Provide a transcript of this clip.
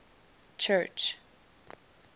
church